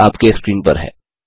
हल आपके स्क्रीन पर है